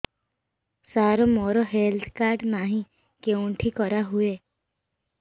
ସାର ମୋର health card ନାହିଁ କେଉଁଠି କରା ହୁଏ